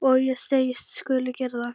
Og ég segist skulu gera það.